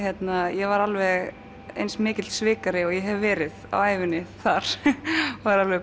ég var alveg eins mikill svikari og ég hef verið á ævinni þar var alveg